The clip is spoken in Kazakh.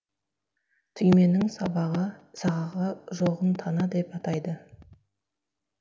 түйменің сабағы сағағы жоғын тана деп атайды